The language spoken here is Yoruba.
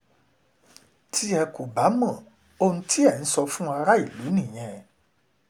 tí ẹ kò bá mọ ohun tí ẹ̀ ń sọ fún aráàlú nìyẹn